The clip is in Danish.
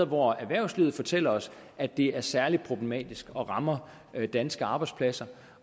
hvor erhvervslivet fortæller os at det er særlig problematisk og rammer danske arbejdspladser